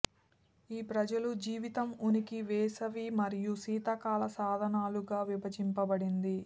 ఈ ప్రజలు జీవితం ఉనికి వేసవి మరియు శీతాకాల సాధనాలుగా విభజించబడింది